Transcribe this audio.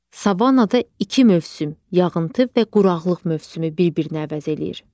Savannada iki mövsüm, yağıntı və quraqlıq mövsümü bir-birini əvəz eləyir.